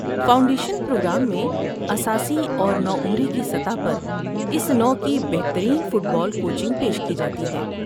Foundation programme میں اساسی اور نوعمری کی سطحوں پر اس نوع کی بہترین فٹ بال کوچنگ پیش کی جاتی ہے۔